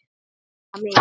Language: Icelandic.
Hitta mig?